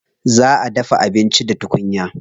Za a dafa abinci da tukunya.